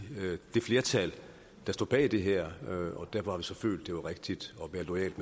det flertal der står bag det her og derfor så følt at det var rigtigt